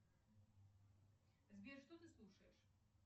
сбер что ты слушаешь